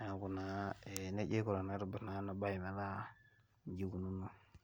niaku naa neji aiku tenaitobir ena bae metaa nejia ikununo.